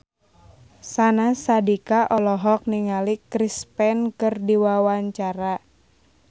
Syahnaz Sadiqah olohok ningali Chris Pane keur diwawancara